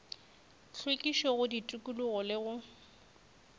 hlwekišo go tikologo le go